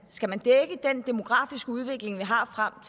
skal man dække den demografiske udvikling vi har frem